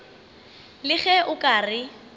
le ge o ka re